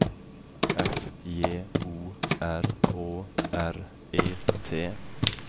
F J O R Å R E T